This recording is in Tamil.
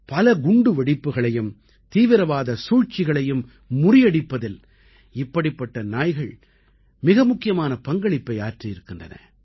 பல குண்டு வெடிப்புகளையும் தீவிரவாத சூழ்ச்சிகளையும் முறியடிப்பதில் இப்படிப்பட்ட நாய்கள் மிக முக்கியமான பங்களிப்பை ஆற்றியிருக்கின்றன